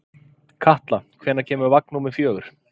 Katla, hvenær kemur vagn númer fjögur?